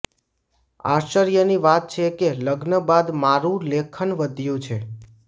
આશ્ચર્યની વાત છે કે લગ્ન બાદ મારું લેખન વધ્યું છે